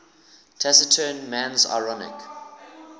taciturn man's ironic